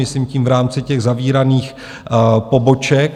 Myslím tím v rámci těch zavíraných poboček.